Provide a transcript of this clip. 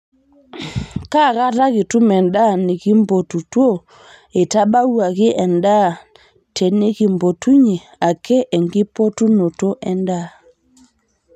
kaa kata kitum endaa nikimpotutuo eitabawuaki endaa tenikimpotunyie ake enkipotunoto endaa